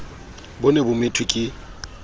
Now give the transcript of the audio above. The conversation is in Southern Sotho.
bo ne bo methwe ke